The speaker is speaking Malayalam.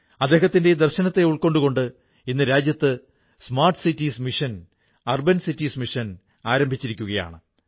അദ്ദേഹത്തിന്റെ ഈ ദർശനത്തെ ഉൾക്കൊണ്ടുകൊണ്ട് ഇന്ന് രാജ്യത്ത് smart cities mission urban cities mission ആരംഭിച്ചിരിക്കയാണ്